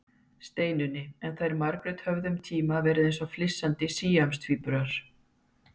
Steinunni, en þær Margrét höfðu um tíma verið eins og flissandi síamstvíburar.